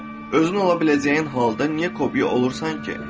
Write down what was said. Özün ola biləcəyin halda niyə kopiya olursan ki?